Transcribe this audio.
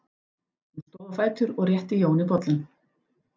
Hún stóð á fætur og rétti Jóni bollann.